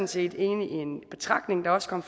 set enig i en betragtning der også kom